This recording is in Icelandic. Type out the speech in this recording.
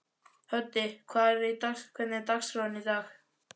Höddi, hvernig er dagskráin í dag?